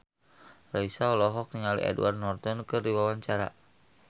Raisa olohok ningali Edward Norton keur diwawancara